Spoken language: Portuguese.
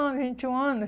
vinte um ano